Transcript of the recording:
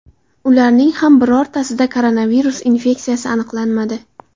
Ularning ham birortasida koronavirus infeksiyasi aniqlanmadi.